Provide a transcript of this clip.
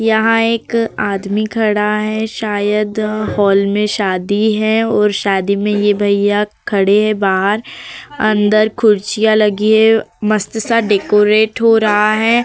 यहाँ एक आदमी खड़ा है। शायद हॉल में शादी है और शादी में ये भैया खड़े हैं बाहर। अंदर खुर्चिया लगी हैं। मस्त-सा डेकोरेट हो रहा है।